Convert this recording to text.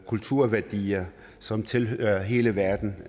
kulturværdier som tilhører hele verden